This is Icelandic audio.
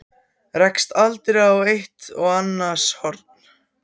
Rekst aldrei eitt á annars horn?